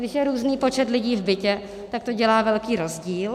Když je různý počet lidí v bytě, tak to dělá velký rozdíl.